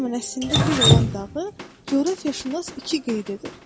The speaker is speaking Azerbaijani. O zaman əslində bir olan dağı, coğrafiyaşünas iki qeyd edir.